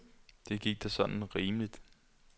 Det gik da sådan rimeligt.